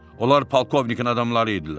Onlar polkovnikin adamları idilər.